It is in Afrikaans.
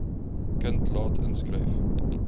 kind laat inskryf